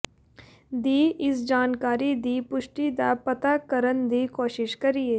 ਦੀ ਇਸ ਜਾਣਕਾਰੀ ਦੀ ਪੁਸ਼ਟੀ ਦਾ ਪਤਾ ਕਰਨ ਦੀ ਕੋਸ਼ਿਸ਼ ਕਰੀਏ